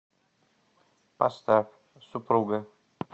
поставь супруга